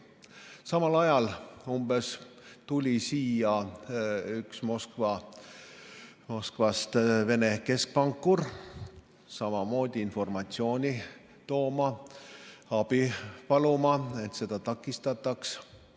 Umbes samal ajal tuli siia Moskvast üks Vene keskpankur, samamoodi informatsiooni tooma, abi paluma, et seda takistataks.